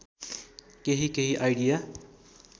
केही केही आइडिया